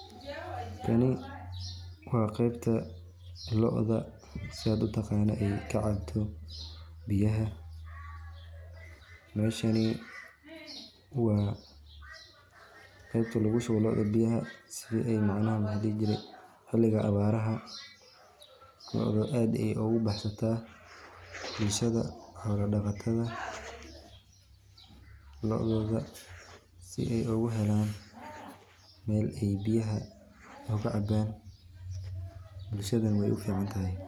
Kani waa qebta lo'da sidad utaqano ay kacabto biyaha, meshani waa qebta lugu shubo lo'da biyaha si ay macnaha maxa ladhihi jire, xiliga abaaraha looda aad ayay ogu baxsataa, bulshada xoola dhaqatada loododa si ay ogu helan Mel ay biyaha oga cabaan, bulshadana way ufican tahay